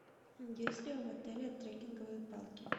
есть ли в отеле трекинговые палки